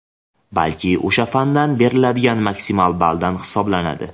balki o‘sha fandan beriladigan maksimal balldan hisoblanadi.